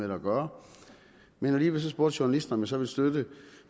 at gøre men alligevel spurgte journalisten så ville støtte